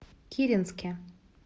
киренске